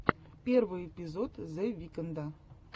первый эпизод зе викнда